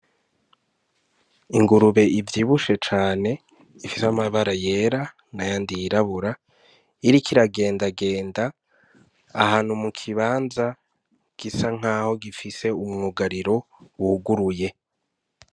Ingurube ivyibushe cane ifise amabara yera n'ayandi yirabura, iriko iragendagenda ahantu mu kibanza gisa nkaho gifise umwugariro wuguruye.